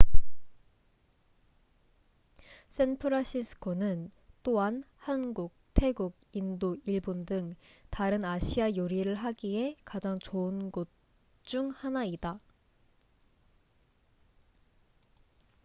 샌프란시스코는 또한 한국 태국 인도 일본 등 다른 아시아 요리를 하기에 가장 좋은 곳 중 하나이다